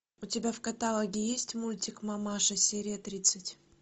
у тебя в каталоге есть мультик мамаша серия тридцать